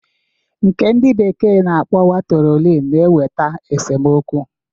Nke ndị bekee na-akpọkwa trolin na-eweta esomokwu.